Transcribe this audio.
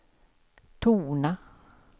tona